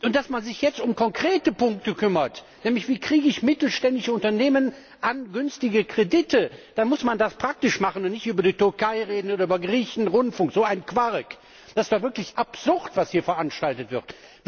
Dass man sich jetzt um konkrete Punkte kümmert, nämlich, wie kriege ich mittelständische Unternehmen an günstige Kredite, dann muss man das praktisch machen und nicht über die Türkei reden oder über Griechenrundfunk, so ein Quark! Das ist doch wirklich absurd, was hier veranstaltet wird.